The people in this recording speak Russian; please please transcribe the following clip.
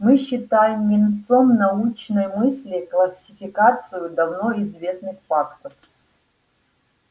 мы считаем венцом научной мысли классификацию давно известных фактов